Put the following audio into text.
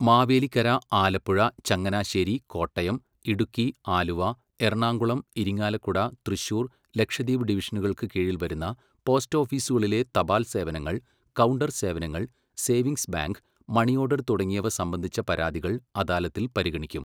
മാവേലിക്കര, ആലപ്പുഴ, ചങ്ങനാശ്ശേരി, കോട്ടയം, ഇടുക്കി, ആലുവ, എറണാകുളം, ഇരിങ്ങാലക്കുട, തൃശ്ശൂർ, ലക്ഷദ്വീപ് ഡിവിഷനുകൾക്ക് കീഴിൽ വരുന്ന പോസ്റ്റ് ഓഫീസുകളിലെ തപാൽ സേവനങ്ങൾ, കൗണ്ടർ സേവനങ്ങൾ, സേവിങ്സ് ബാങ്ക്, മണിയോഡർ തുടങ്ങിയവ സംബന്ധിച്ച പരാതികൾ അദാലത്തിൽ പരിഗണിക്കും.